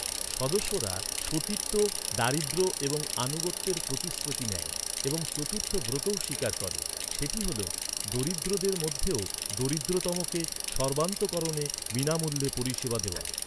সদস্যরা সতীত্ব, দারিদ্র্য এবং আনুগত্যের প্রতিশ্রুতি নেয় এবং চতুর্থ ব্রতও স্বীকার করে। সেটি হল, ‘দরিদ্রদের মধ্যেও দরিদ্রতমকে সর্বান্তকরণে বিনামূল্যে পরিষেবা দেওয়া।’